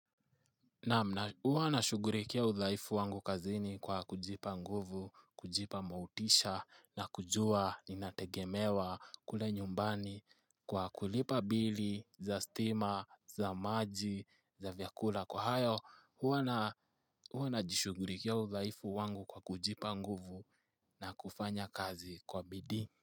Huwa nashughurikia udhaifu wangu kazini kwa kujipa nguvu, kujipa motisha na kujua inategemewa kule nyumbani kwa kulipa bili za stima, za maji, za vyakula. Kwa hayo, huwa najishughurikia udhaifu wangu kwa kujipa nguvu na kufanya kazi kwa bidii.